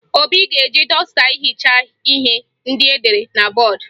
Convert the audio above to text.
Obi ga-eji dọsta hichaa ihe ndị edere na bọọdụ